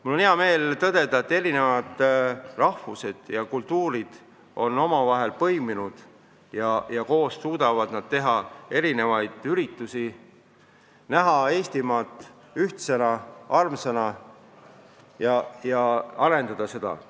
Mul on hea meel tõdeda, et erinevad rahvad ja kultuurid on omavahel põimunud ja suudavad koos korraldada erinevaid üritusi, näha Eestimaad ühtsena, armsana ja arendada seda.